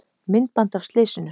Myndband af slysinu